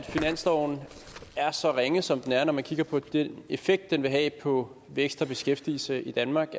finansloven er så ringe som den er når man kigger på den effekt den vil have på vækst og beskæftigelse i danmark